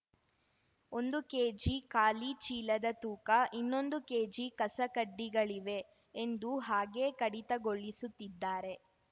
ಒಂದು ಕೆಜಿ ಖಾಲಿ ಚೀಲದ ತೂಕ ಇನ್ನೊಂದು ಕೆಜಿ ಕಸಕಡ್ಡಿಗಳಿವೆ ಎಂದು ಹಾಗೆ ಕಡಿತಗೊಳಿಸುತ್ತಿದ್ದಾರೆ